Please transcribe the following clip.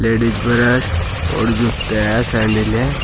Ladies purse और जुते हैं सैंडील हैं।